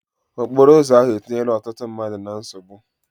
Okporo ụzọ ahụ etinyela ọtụtụ mmadụ na nsogbu.